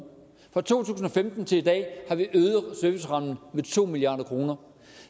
fra to tusind og femten til i dag har vi øget servicerammen med to milliard kroner